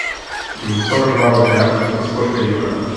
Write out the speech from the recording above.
сорок два рубля это сколько евро